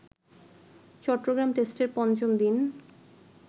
চট্টগ্রাম টেস্টের পঞ্চম দিন